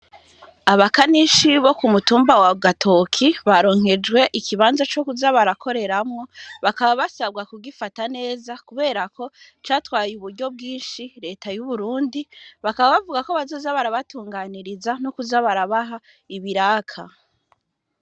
Abakanishi bo ku mutumba wa Gatoke baronse ikibanza co kuza barakoreramwo. Bakaba basabwa kugifata neza kubera ko ico kibanza catwaye uburyo bwnshi Reta y'Uburundi, bakaba bavuga yuko bazoza barabatunganiriza no kuza barabaha ibiraka.